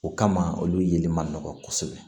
O kama olu yeli ma nɔgɔn kosɛbɛ